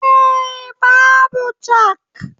Eh, Babu chak